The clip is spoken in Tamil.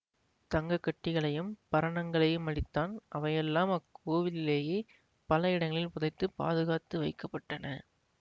தங்க கட்டிகளையும் பரணங்களையும் அளித்தான் அவையெல்லாம் அக்கோவிலிலேயே பல இடங்களில் புதைத்து பாதுகாத்து வைக்க பட்டன